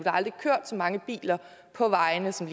aldrig kørt så mange biler på vejene som